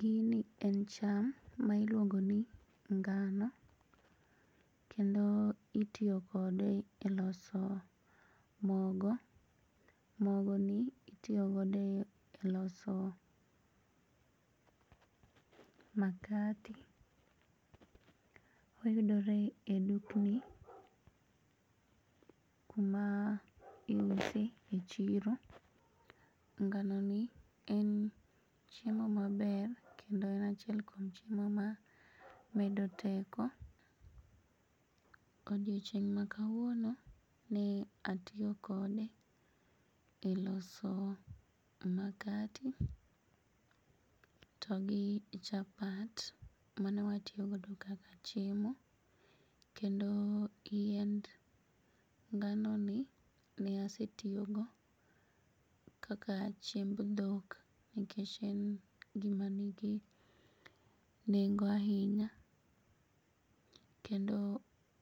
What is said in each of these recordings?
Gini en cham ma iluongoni ngano kendo itiyo kode e loso mogo. Mogoni itiyo godeo e loso makate. Oyudore e dukni kuma iuse e chiro. Nganoni en chiemo maber kendo en achiel kuom chiemo mamedo teko. Odiochieng' makawuono ne atiyo kode e loso makate to gi chapat manewatiyo godo kaka chiemo kendo yiend nganoni ne asetiyogo kaka chiemb dhok nekech en gima nigi nengo ainya kendo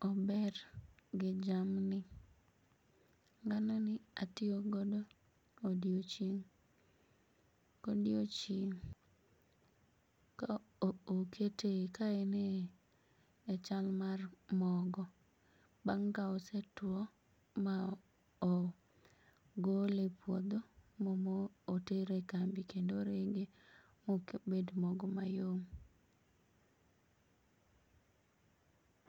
ober gi jamni. Nganoni atio godo odiochieng' godiochieng' ka okete, ka ene chal mar mogo bang' ka osetuo ma ogole e puodho motere e kambi kendo orege mobed mogo mayom.